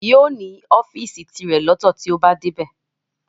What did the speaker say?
Yóò ní ọ́fìsì tirẹ̀ lọ́tọ̀ tí ó bá dé